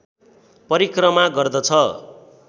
परिक्रमा गर्दछ